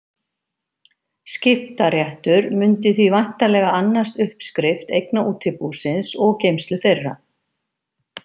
Skiptaréttur mundi því væntanlega annast uppskrift eigna útibúsins og geymslu þeirra.